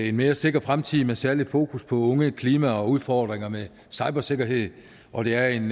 en mere sikker fremtid med særligt fokus på unge klima og udfordringer med cybersikkerhed og det er en